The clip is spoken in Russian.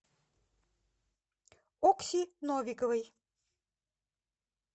окси новиковой